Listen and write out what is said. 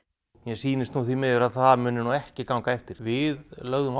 mér sýnist nú því miður að það muni ekki ganga eftir við lögðum